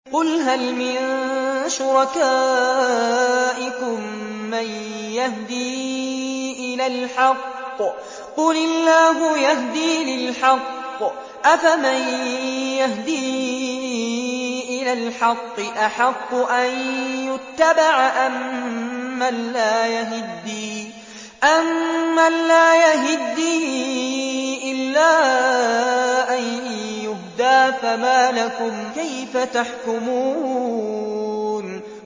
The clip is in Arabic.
قُلْ هَلْ مِن شُرَكَائِكُم مَّن يَهْدِي إِلَى الْحَقِّ ۚ قُلِ اللَّهُ يَهْدِي لِلْحَقِّ ۗ أَفَمَن يَهْدِي إِلَى الْحَقِّ أَحَقُّ أَن يُتَّبَعَ أَمَّن لَّا يَهِدِّي إِلَّا أَن يُهْدَىٰ ۖ فَمَا لَكُمْ كَيْفَ تَحْكُمُونَ